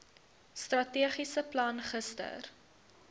strategiese plan gister